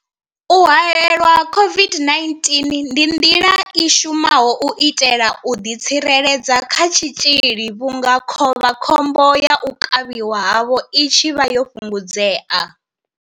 U haelelwa COVID-19 ndi nḓila i shumaho u itela u ḓitsireledza kha tshitzhili vhunga khovha khombo ya u kavhiwa havho i tshi vha yo fhungudzea.